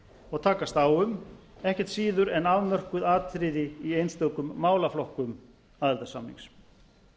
og takast á um ekkert síður en afmörkuð atriði í einstökum málaflokkum aðildarsamnings